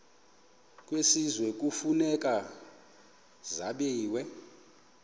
kwisizwe kufuneka zabiwe